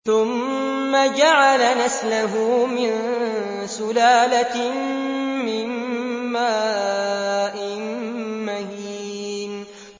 ثُمَّ جَعَلَ نَسْلَهُ مِن سُلَالَةٍ مِّن مَّاءٍ مَّهِينٍ